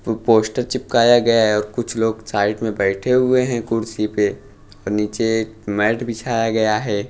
पू पोस्टर चिपकाया गया हैं और कुछ लोग साइड में बैठे हुए हैं कुर्सी पे और नीचे मैट बिछाया गया हैं।